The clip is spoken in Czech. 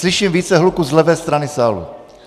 Slyším více hluku z levé strany sálu.